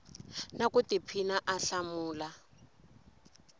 na ku tiphina a hlamula